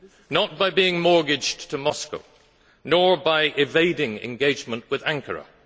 Not by being mortgaged to Moscow, nor by evading engagement with Ankara.